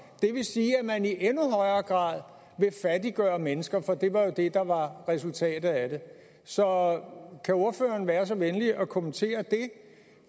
det vil sige at man i endnu højere grad vil fattiggøre mennesker for det var jo det der var resultatet af det så kan ordføreren være så venlig at kommentere det